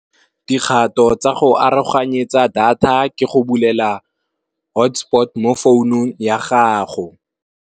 Dikgato tsa go aroganyetsa data ke go bulela hotspot mo founung ya gago.